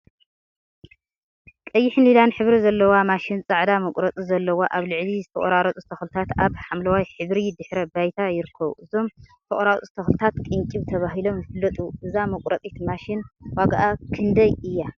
ቀይሕን ሊላን ሕብሪ ዘለዋ ማሽን ፃዕዳ መቁረፂ ዘለዋ አብ ልዕሊ ዝተቆራረፁ ተክሊታት አብ ሓምለዋይ ሕብሪ ድሕረ ባይታ ይርከቡ፡፡ እዞም ዝተቆራረፁ ተክሊታት ቅንጭብ ተባሂሎም ይፈለጡ፡፡ እዛ መቁረፂት ማሽን ዋግአ ክንደይ እያ?